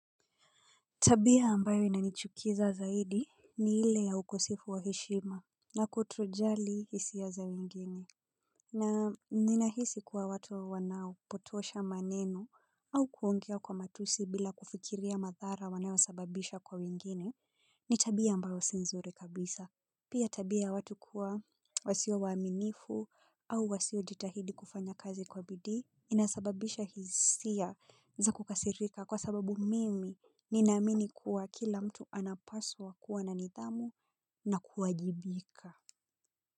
Tabia ambayo inanichukiza zaidi ni ile ya ukosefu wa heshima na kutojali hisia za wengine. Na ninahisi kuwa watu wanaopotosha maneno au kuongea kwa matusi bila kufikiria madhara wanayo sababisha kwa wengine, ni tabia ambayo si nzuri kabisa. Pia tabia ya watu kuwa wasio waaminifu au wasio jitahidi kufanya kazi kwa bidii inasababisha hisia za kukasirika kwa sababu mimi ninaamini kuwa kila mtu anapaswa kuwa na nidhamu na kuwajibika.